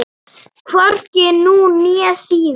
Hvorki nú né síðar.